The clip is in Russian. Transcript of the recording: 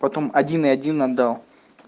потом один и один отдал